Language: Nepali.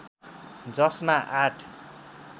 जसमा आठ